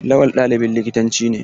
Lawal ɗalibin likitanci ne.